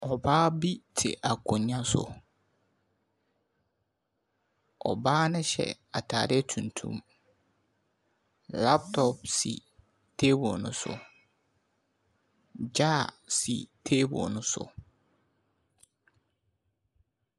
Ɔbaa bi te akonnwa so wɔ hɔ. Ɔbaa ne hyɛ ataade tuntum. Laptop si table no so. Jar si table no so.